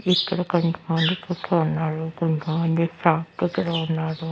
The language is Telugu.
ఇక్కడ కొంతమంది కూర్చో ఉన్నారు కొంతమంది షాప్ దగ్గర ఉన్నారు.